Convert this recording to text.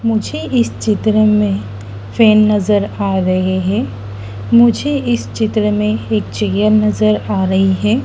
मुझे इस चित्र में ट्रेन नज़र आ रहे है मुझे इस चित्र में एक चेयर नज़र आ रही है।